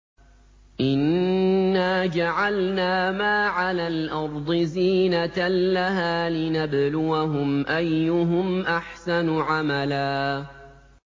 إِنَّا جَعَلْنَا مَا عَلَى الْأَرْضِ زِينَةً لَّهَا لِنَبْلُوَهُمْ أَيُّهُمْ أَحْسَنُ عَمَلًا